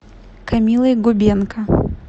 камилой губенко